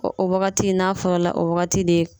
O wagati n'a fɔra o wagati de